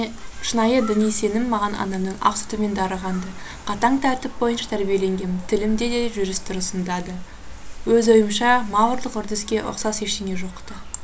шынайы діни сенім маған анамның ақ сүтімен дарыған ды қатаң тәртіп бойынша тәрбиеленгем тілімде де жүріс тұрысымда да өз ойымша маврлық үрдіске ұқсас ештеңе жоқ ты